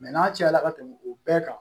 n'a cayala ka tɛmɛ o bɛɛ kan